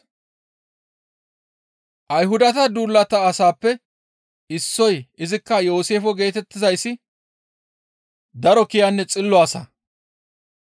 Ayhudata duulata asaappe issoy izikka Yooseefe geetettizayssi daro kiyanne xillo asa.